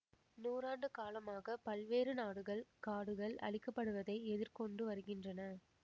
நூறாண்டு காலமாக பல்வேறு நாடுகள் காடுகள் அழிக்கப்படுவதை எதிர்கொண்டு வருகின்றன